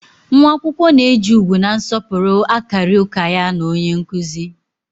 Nwa akwụkwọ na-eji ugwu na nsọpụrụ akarị ụka ya na onye nkụzi